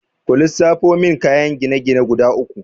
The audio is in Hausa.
Ku lissafo min kayan gine-gine guda uku?